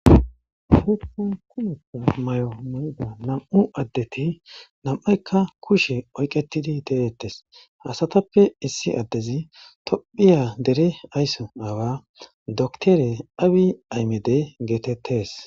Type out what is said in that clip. Namu'u adeti namiphayika kushe oyiketidi detesi asatape issi adezi tophphiya dere ayiso aawa doctor Abey Ahimedi getetesi